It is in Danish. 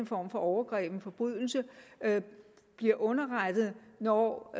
former for overgreb en forbrydelse bliver underrettet når